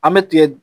An bɛ tigɛ